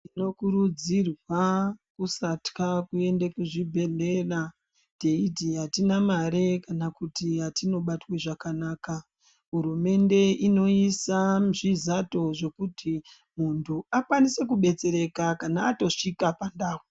Tinokurudzirwa kusatya kuende kuzvibhedhlera teiti atine mare kana kuti atinobatwi zvakanaka. Hurumende inoisa zvizato zvekuti muntu akwanise kudetsereka atosvika pandau.